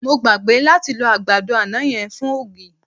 Mo gbàgbé láti lọ àgbàdo àná yẹn fún ògì.